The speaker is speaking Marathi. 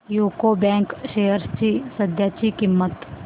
यूको बँक शेअर्स ची सध्याची किंमत